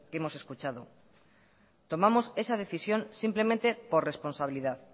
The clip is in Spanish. hemos escuchado tomamos esa decisión simplemente por responsabilidad